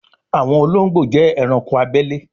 àwọn olóńgbò jé ẹranko abele